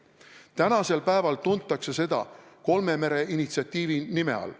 Tänasel päeval tuntakse seda kolme mere initsiatiivi nime all.